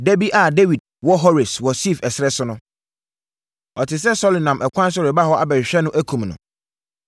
Dabi a Dawid wɔ Hores wɔ Sif ɛserɛ so no, ɔtee sɛ Saulo nam ɛkwan so reba hɔ abɛhwehwɛ no akum no.